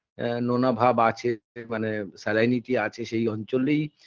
এ নোনাভাব আছে মানে salinity আছে সেই অঞ্চলেই